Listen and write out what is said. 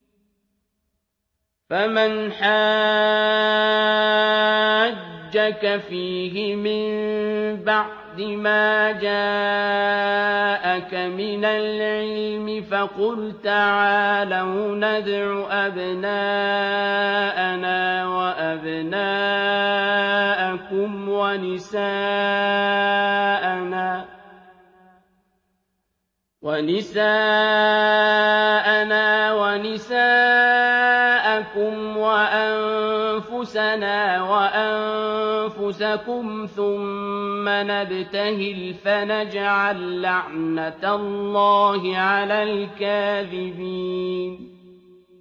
فَمَنْ حَاجَّكَ فِيهِ مِن بَعْدِ مَا جَاءَكَ مِنَ الْعِلْمِ فَقُلْ تَعَالَوْا نَدْعُ أَبْنَاءَنَا وَأَبْنَاءَكُمْ وَنِسَاءَنَا وَنِسَاءَكُمْ وَأَنفُسَنَا وَأَنفُسَكُمْ ثُمَّ نَبْتَهِلْ فَنَجْعَل لَّعْنَتَ اللَّهِ عَلَى الْكَاذِبِينَ